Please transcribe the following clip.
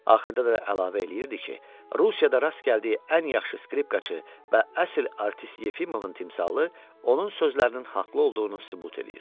Axırda da əlavə eləyirdi ki, Rusiyada rast gəldiyi ən yaxşı skripkaçı və əsl artist Yefimovun timsalı onun sözlərinin haqlı olduğunu sübut eləyir.